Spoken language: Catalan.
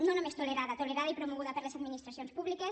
no només tolerada tolerada i promoguda per les administracions públiques